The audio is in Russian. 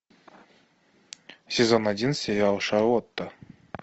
сезон один сериал шарлотта